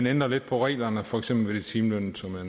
ændrer lidt på reglerne for eksempel for de timelønnede som jeg